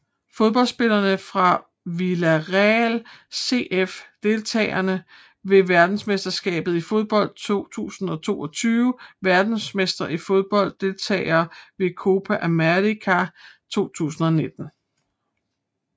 Fodboldspillere fra Villarreal CF Deltagere ved verdensmesterskabet i fodbold 2022 Verdensmestre i fodbold Deltagere ved Copa América 2019